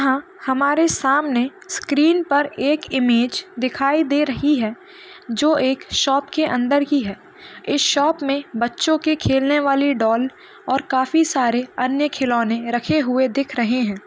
यह हमारे सामने स्क्रीन पर एक इमेज दिखाई दे रही है जो एक शॉप के अंदरकी है इस शॉप में बच्चों के खेलने वाली डॉल और काफी सारे अन्य खिलौने रखे हुए दिख रहे है।